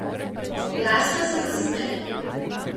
Glasno se zasmeji.